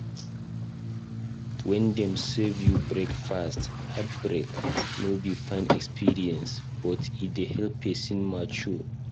When Dem serve u breakfast (heartbreak)no be fine experience but e dey help person mature